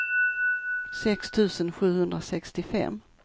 sex tusen sjuhundrasextiofem